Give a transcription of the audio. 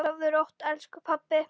Sofðu rótt, elsku pabbi.